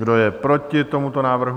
Kdo je proti tomuto návrhu?